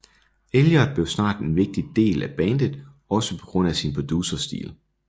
Elliott blev snart en vigtig del af bandet også på grund af sin producerstil